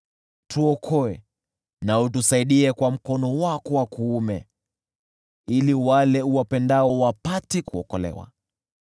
Tuokoe na utusaidie kwa mkono wako wa kuume, ili wale uwapendao wapate kuokolewa.